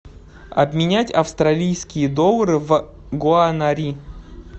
обменять австралийские доллары в гуанари